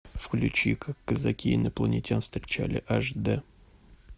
включи как казаки инопланетян встречали аш д